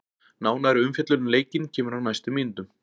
Nánari umfjöllun um leikinn kemur á næstu mínútum.